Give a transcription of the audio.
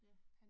Ja